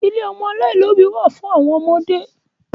ilé ọmọ aláìlóbì wa fun awon omode